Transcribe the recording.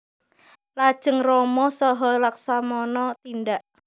Lajeng Rama saha Laksamana tindak